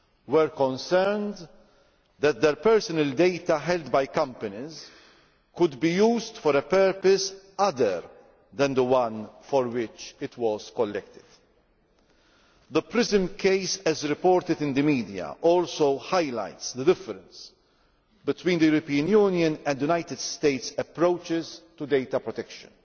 were concerned that their personal data held by companies could be used for a purpose other than the one for which it was collected. The PRISM case as reported in the media also highlights the difference between the European Union's and the United States' approaches to data protection.